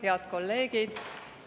Head kolleegid!